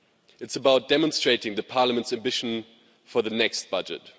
It's about demonstrating Parliament's ambition for the next budget.